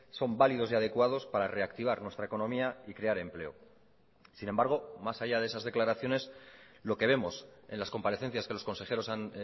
son válidos y adecuados para reactivar nuestra economía y crear empleo sin embargo más allá de esas declaraciones lo que vemos en las comparecencias que los consejeros han